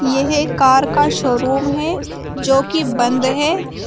यह कार का शोरूम है जो कि बंद है।